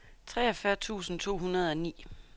treogfyrre tusind to hundrede og ni